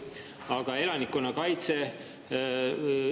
Aga elanikkonnakaitse?